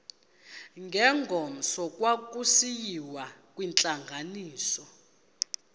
ngengomso kwakusiyiwa kwintlanganiso